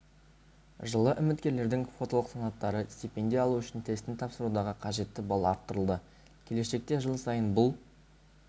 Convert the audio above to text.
жылы үміткерлердің квоталық санаттары стипендия алу үшін тестін тапсырудағы қажетті балл арттырылды келешекте жыл сайын бұл